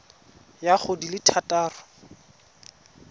ya go di le thataro